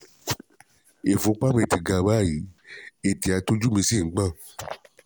Ìfúnpá mi ti ga báyìí, ètè àti ojú mí sì ń gbọ̀n